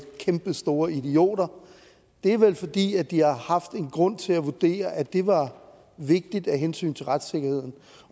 kæmpestore idioter det er vel fordi de har haft en grund til at vurdere at det var vigtigt af hensyn til retssikkerheden